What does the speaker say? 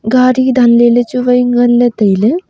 gadi danley le chuwai nganley tailey.